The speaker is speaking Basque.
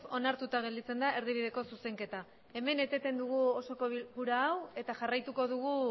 onartuta gelditzen da erdibideko zuzenketa hemen eteten dugu osoko bilkura hau eta jarraituko dugu